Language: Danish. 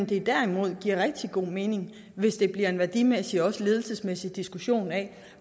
det derimod giver rigtig god mening hvis det bliver en værdimæssig og ledelsesmæssig diskussion af